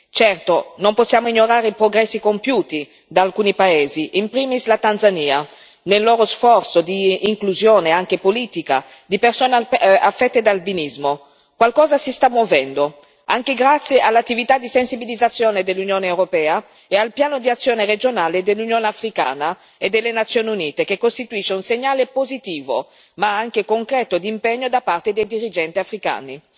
Certo, non possiamo ignorare i progressi compiuti da alcuni Paesi, in primis la Tanzania, nel loro sforzo di inclusione, anche politica, di persona affette da albinismo. Qualcosa si sta muovendo, anche grazie all'attività di sensibilizzazione dell'Unione europea e al Piano di azione regionale dell'Unione africana e delle Nazioni Unite, che costituisce un segnale positivo ma anche concreto di impegno da parte dei dirigenti africani.